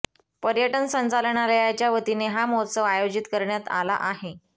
पर्यटन संचालनालयाच्या वतीने हा महोत्सव आयोजित करण्यात आला आहे